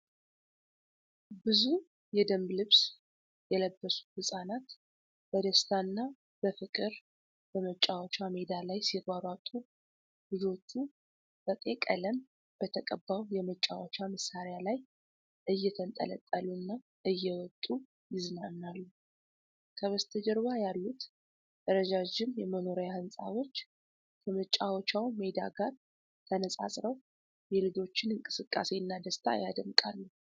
ብዙ የደንብ ልብስ የለበሱ ህፃናት በደስታ እና በፍቅር በመጫወቻ ሜዳ ላይ ሲሯሯጡ፤ ልጆቹ በቀይ ቀለም በተቀባው የመጫወቻ መሳሪያ ላይ እየተንጠለጠሉና እየወጡ ይዝናናሉ። ከበስተጀርባ ያሉት ረዣዥም የመኖሪያ ሕንፃዎች ከመጫወቻው ሜዳ ጋር ተነጻጽረው የልጆችን እንቅስቃሴና ደስታ ያደምቃሉ።